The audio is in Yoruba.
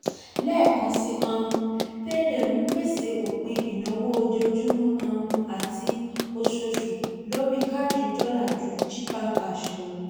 lẹ́ẹ̀kan sí um i payday ń pèsè òpin ìnáwó ojoojúmọ́ um àti oṣooṣù lórí káàdì dọ́là ju chipper cash lọ.